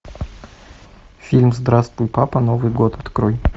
фильм здравствуй папа новый год открой